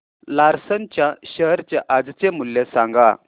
Larsen च्या share चे आजचे मूल्य सांगा